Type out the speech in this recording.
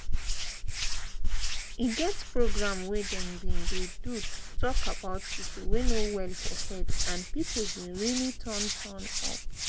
e get program wey them bin dey do to talk about people wey no well for head and people bin really turn turn up